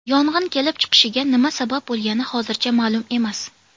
Yong‘in kelib chiqishiga nima sabab bo‘lgani hozircha ma’lum emas.